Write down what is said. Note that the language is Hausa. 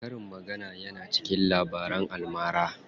Karin magana yana cikin Labaran almara.